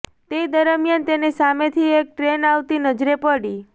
તે દરમિયાન તેને સામેથી એક ટ્રેન આવતી નજરે પડી